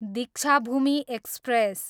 Deekshabhoomi express